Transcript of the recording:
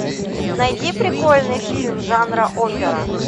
найди прикольный фильм жанра опера